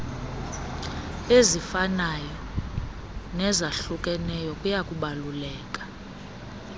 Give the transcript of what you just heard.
ezifanayo nezahlukeneyo kuyakubaluleka